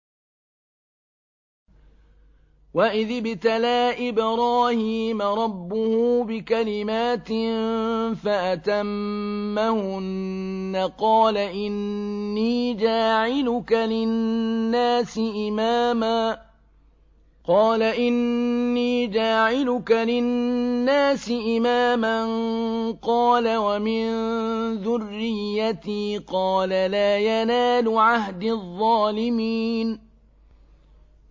۞ وَإِذِ ابْتَلَىٰ إِبْرَاهِيمَ رَبُّهُ بِكَلِمَاتٍ فَأَتَمَّهُنَّ ۖ قَالَ إِنِّي جَاعِلُكَ لِلنَّاسِ إِمَامًا ۖ قَالَ وَمِن ذُرِّيَّتِي ۖ قَالَ لَا يَنَالُ عَهْدِي الظَّالِمِينَ